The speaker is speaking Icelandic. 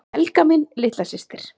Helga mín litla systir.